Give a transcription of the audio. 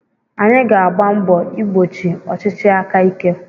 Anyị ga-agba mbọ igbochi ọchịchị aka ike.